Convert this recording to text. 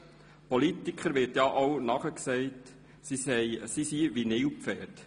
Politikern wird ja auch nachgesagt, sie seien wie Nilpferde: